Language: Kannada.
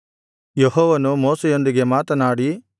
ಯೆಹೋವನು ಮೋಶೆಯೊಂದಿಗೆ ಮಾತನಾಡಿ